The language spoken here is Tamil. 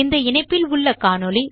இந்த இணைப்பில் உள்ள காணொளியைக் காணவும்